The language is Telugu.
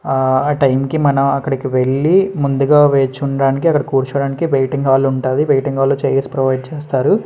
ఆ టైమ్ కి మనం అక్కడికి వెళ్ళి ముందుగా వేచి ఉండడానికి అక్కడ కూర్చోడానికి వెయిటింగ్ హాల్ ఉంటది. వెయిటింగ్ హాల్ లో చైర్స్ ప్రొవైడ్ చేస్తారు.